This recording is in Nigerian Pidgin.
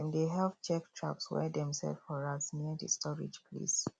dem dey help check traps wey dem set for rats near the storage place